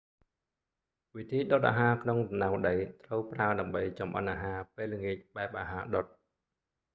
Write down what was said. វិធីដុតអាហារក្នុងរណ្តៅដី ត្រូវប្រើដើម្បីចម្អិនអាហារពេលល្ងាចបែបអាហារដុត